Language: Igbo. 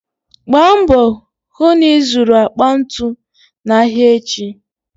Gba mbò hų na ịzụrụ akpa ntu n'ahịa echi.